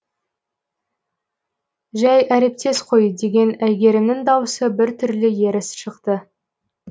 жай әріптес қой деген әйгерімнің даусы бір түрлі ерсі шықты